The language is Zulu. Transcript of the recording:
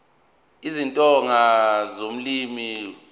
isitsonga ulimi lokuqala